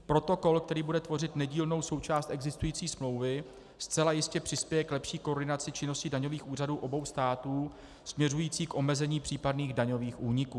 Protokol, který bude tvořit nedílnou součást existující smlouvy, zcela jistě přispěje k lepší koordinaci činnosti daňových úřadů obou států směřující k omezení případných daňových úniků.